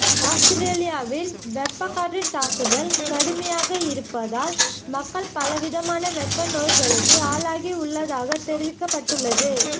அவுஸ்திரேலியாவில் வெப்பக்காற்றின் தாக்குதல் கடுமையாக இருப்பதால் மக்கள் பலவிதமான வெப்ப நோய்களுக்கு ஆளாகியுள்ளதாக தெரிவிக்கப்பட்டுள்ளது